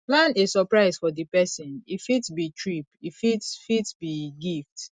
plan a suprise for di perosn e fit be trip e fit fit be gift